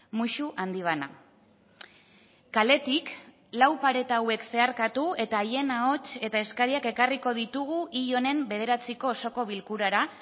musu handi bana kaletik lau pareta hauek zeharkatu eta haien ahots eta eskariak ekarriko ditugu hil honen bederatziko osoko bilkurara